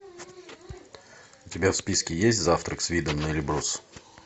у тебя в списке есть завтрак с видом на эльбрус